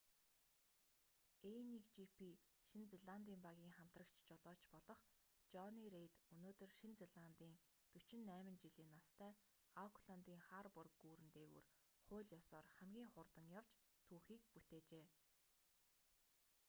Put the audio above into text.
a1gp шинэ зеландын багийн хамтрагч жолооч болох жонни рейд өнөөдөр шинэ зеландын 48 жилийн настай аукландын харбор гүүрэн дээгүүр хууль ёсоор хамгийн хурдан явж түүхийг бүтээжээ